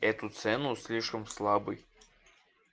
эту цену слишком слабый